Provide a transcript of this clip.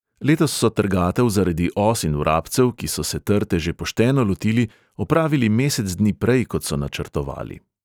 Letos so trgatev zaradi os in vrabcev, ki so se trte že pošteno lotili, opravili mesec dni prej, kot so načrtovali.